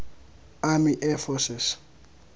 army air forces